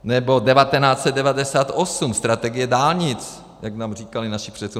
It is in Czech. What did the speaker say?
Nebo 1998 strategie dálnic, jak nám říkali naši předci.